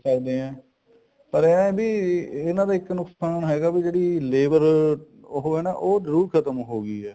ਕਹਿ ਸਕਦੇ ਹਾਂ ਪਰ ਇਹ ਹੈ ਵੀ ਇਹਨਾ ਦਾ ਇੱਕ ਨੁਕਸਾਨ ਹੈਗਾ ਵੀ ਜਿਹੜੀ ਲੇਬਰ ਉਹ ਹੈ ਨਾ ਉਹ ਜਰੂਰ ਖਤਮ ਹੋਗੀ ਆ